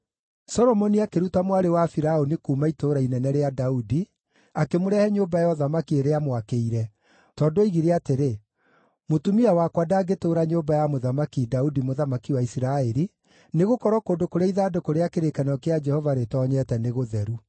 Solomoni akĩruta mwarĩ wa Firaũni kuuma Itũũra Inene rĩa Daudi, akĩmũrehe nyũmba ya ũthamaki ĩrĩa aamwakĩire, tondũ oigire atĩrĩ, “Mũtumia wakwa ndangĩtũũra nyũmba ya Mũthamaki Daudi, mũthamaki wa Isiraeli, nĩgũkorwo kũndũ kũrĩa ithandũkũ rĩa kĩrĩkanĩro kĩa Jehova rĩtoonyete nĩ gũtheru.”